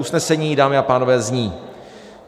Usnesení, dámy a pánové, zní: